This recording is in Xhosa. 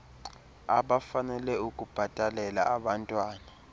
abafanele ukubhatalela abantwan